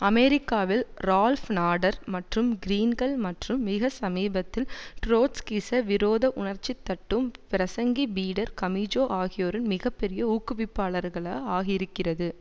அமெரிக்காவில் Ralph Nader மற்றும் கிரீன்கள் மற்றும் மிக சமீபத்தில் ட்ரொட்ஸ்கிச விரோத உணர்ச்சிதட்டும் பிரசங்கி பீட்டர் கமீஜோ ஆகியோரின் மிக பெரிய ஊக்குவிப்பாளர்கள ஆகியிருக்கிறது